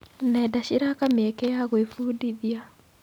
Nenda ciraka mĩeke ya gwĩbundithia.